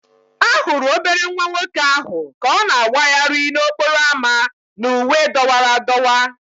A hụrụ obere nwa nwoke ahụ ka ọ na-awagharị n'okporo ámá na uwe dọwara adọwa